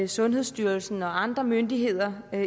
sundhedsstyrelsen og andre myndigheder